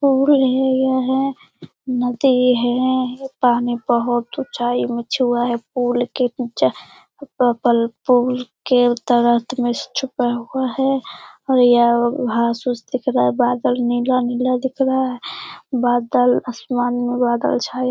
पुल है यह नदी है पानी बहुत ऊंचाई मे छुआ है पुल के ऊँचा पूल के उत्तर अंत मे छुपा हुआ है घास उस दिख रहा है बादल नीला-नीला दिख रहा है बादल आसमान में बादल छाए --